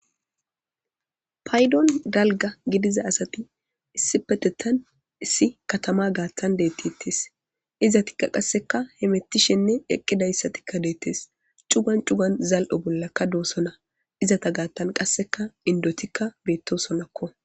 aydon dalga gidiza asati issi petetan issi katama gaattan deettittes izatikka qasseka hemettishenne eqqidayssatikka deettes cugan cugan zal7o bollakka doosona izata gaattan qasseka indotikka beettosonakko.